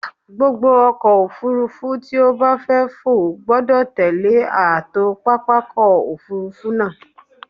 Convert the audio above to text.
Gbogbo ọkọ̀-òfurufú tí ó bá fẹ́ fò gbọdọ̀ tẹllé ààtò pápákọ̀-òfurufú náà.